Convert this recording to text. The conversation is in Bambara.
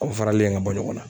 Aw faralen ye ka bɔ ɲɔgɔn na.